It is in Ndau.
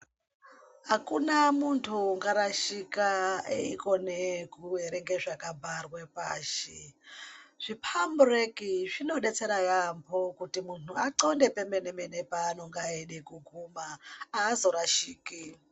Hakuna muntu ungarashika aikone kuverenga zvakabharwa pashi. Zvipambureki zvinobetsera yaamho kuti muntu atxonde pemene-mene, paanenge eida kuguma haazorashiki.